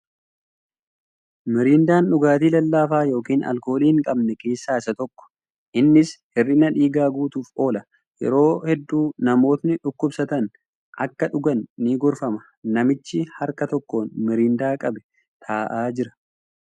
Mirindaan dhugaatii lallaafaa yookin alkoolii hin qabne keessa isa tokko. Innis hir'ina dhiigaa guutuuf oola. Yeroo hedduu namootni dhukkubsatan akka dhugan ni gorfama. Namichi harka tokkoon mirindaa qabee taa'aa jira.